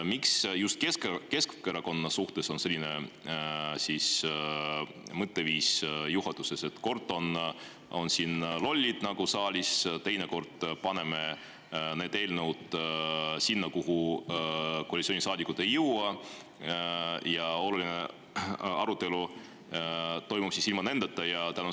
Miks on juhatuses just Keskerakonna suhtes selline mõtteviis: kord on siin lollid saalis, teinekord paneme need eelnõud sinna, kuhu koalitsioonisaadikud ei jõua, ja oluline arutelu toimub ilma nendeta?